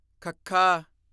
ਖੱਖਾ